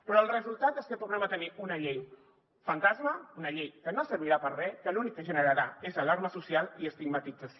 però el resultat és que tornem a tenir una llei fantasma una llei que no servirà per a res que l’únic que generarà és alarma social i estigmatització